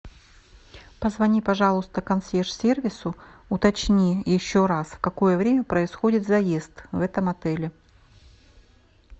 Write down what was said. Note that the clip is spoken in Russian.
позвони пожалуйста консьерж сервису уточни еще раз в какое время происходит заезд в этом отеле